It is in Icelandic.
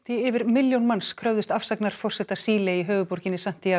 yfir milljón manns kröfðust afsagnar forseta Síle í höfuðborginni